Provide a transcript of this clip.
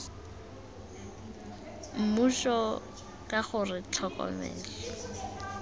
mmuso k g r tlhokomelo